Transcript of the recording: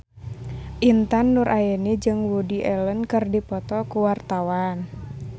Intan Nuraini jeung Woody Allen keur dipoto ku wartawan